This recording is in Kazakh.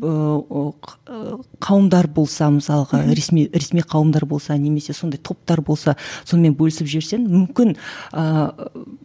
ыыы қауымдар болса мысалға ресми ресми қауымдар болса немесе сондай топтар болса сонымен бөлісіп жіберсе мүмкін ііі